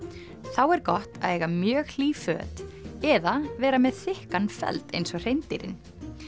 þá er gott að eiga mjög hlý föt eða vera með þykkan feld eins og hreindýrin